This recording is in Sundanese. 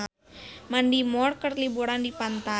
Mandy Moore keur liburan di pantai